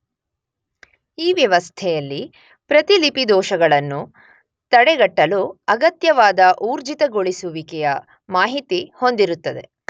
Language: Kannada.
ಈ ವ್ಯವಸ್ಥೆಯಲ್ಲಿ ಪ್ರತಿಲಿಪಿ ದೋಷಗಳನ್ನು ತಡೆಗಟ್ಟಲು ಅಗತ್ಯವಾದ ಊರ್ಜಿತಗೊಳಿಸುವಿಕೆಯ ಮಾಹಿತಿ ಹೊಂದಿರುತ್ತದೆ.